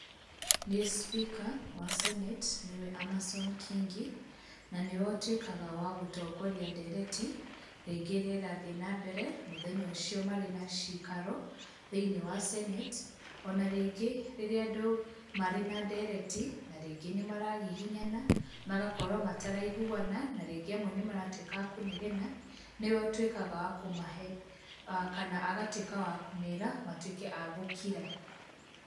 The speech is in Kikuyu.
Nĩ speaker wa Senate nĩwe Amason Kingi, na nĩwe ũtuĩkaga wa gũtongoria ndereti rĩngĩ ĩrĩa ĩrathiĩ nambere mũthenya ũcio marĩ na cikaro thĩinĩ wa Senate, ona rĩngĩ rĩrĩa andũ marĩ na ndereti na rĩngĩ nĩ maragiginyana, magakorwo mataraiguana, na rĩngĩ amwe nĩ maratuĩka a kũnegena nĩwe ũtuĩkaga wa kũmahe, kana agatuĩka wa kũmera matuĩke a gũkira.